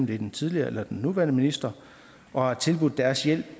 det er den tidligere eller den nuværende minister og tilbudt deres hjælp